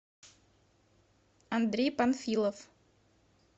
андрей панфилов